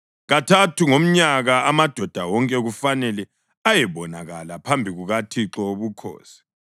Kathathu ngomnyaka amadoda wonke kufanele ayebonakala phambi kukaThixo Wobukhosi.